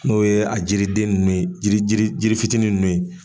N'o ye a jiriden nunnu ye, jiri jiri fitinin nunnu ye.